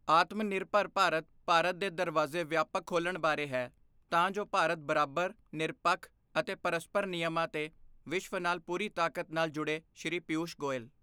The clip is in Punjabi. ਆਤਮਨਿਰਭਰ ਭਾਰਤ, ਭਾਰਤ ਦੇ ਦਰਵਾਜ਼ੇ ਵਿਆਪਕ ਖੋਲ੍ਹਣ ਬਾਰੇ ਹੈ, ਤਾਂ ਜੋ ਭਾਰਤ ਬਰਾਬਰ, ਨਿਰਪੱਖ ਅਤੇ ਪਰਸਪਰ ਨਿਯਮਾਂ ਤੇ ਵਿਸ਼ਵ ਨਾਲ ਪੂਰੀ ਤਾਕਤ ਨਾਲ ਜੁੜੇ ਸ਼੍ਰੀ ਪੀਯੂਸ਼਼ ਗੋਇਲ